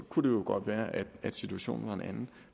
kunne det jo godt være at at situationen var en anden